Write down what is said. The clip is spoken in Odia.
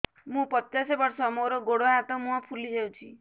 ମୁ ପଚାଶ ବର୍ଷ ମୋର ଗୋଡ ହାତ ମୁହଁ ଫୁଲି ଯାଉଛି